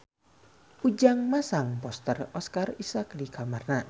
Ujang masang poster Oscar Isaac di kamarna